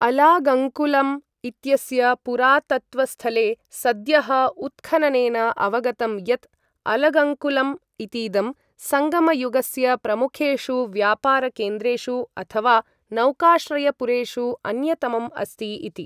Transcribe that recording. अलागङ्कुलम् इत्यस्य पुरातत्त्वस्थले सद्यः उत्खननेन अवगतं यत् अलगङ्कुलम् इतीदं सङ्गमयुगस्य प्रमुखेषु व्यापारकेन्द्रेषु अथवा नौकाश्रयपुरेषु अन्यतमम् अस्ति इति।